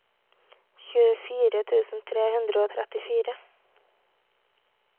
tjuefire tusen tre hundre og trettifire